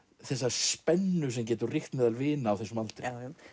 spennu sem getur ríkt meðal vina á þessum aldri